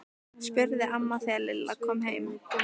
spurði amma þegar Lilla kom heim.